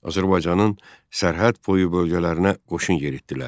Azərbaycanın sərhəd boyu bölgələrinə qoşun yeritdilər.